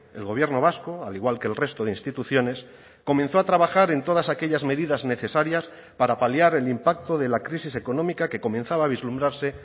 el gobierno vasco al igual que el resto de instituciones comenzó a trabajar en todas aquellas medidas necesarias para paliar el impacto de la crisis económica que comenzaba a vislumbrarse